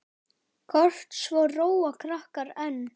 Kort svo róa krakkar enn.